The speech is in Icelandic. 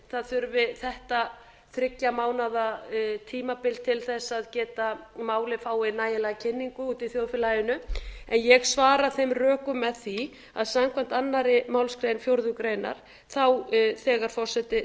það þurfi þetta þriggja mánaða tímabil til þess að málið fái nægilega kynningu úti í þjóðfélaginu en ég svara þeim rökum með því að samkvæmt annarri málsgrein fjórðu grein þegar forseti